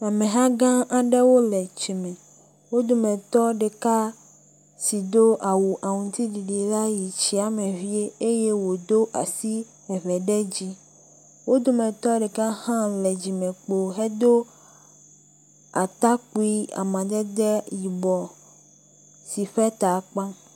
Ameha gã aɖewo le tsi me. Wo dometɔ ɖeka si do awu aŋuti ɖiɖi la yi tsia me vie eye wòdo asi eve ɖe dzi. Wo dometɔ ɖeka hã le dzimekpo hedo atakpui amadede yibɔ si ƒe ta kpa.